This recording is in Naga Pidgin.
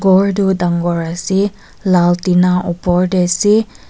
gor tuh dangor ase lal tina opor teh ase.